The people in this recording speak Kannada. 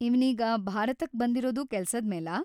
ಇವ್ನೀಗ ಭಾರತಕ್ ಬಂದಿರೋದು ಕೆಲ್ಸದ್ಮೇಲಾ?